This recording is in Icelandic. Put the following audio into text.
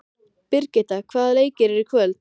Birgitta, hvaða leikir eru í kvöld?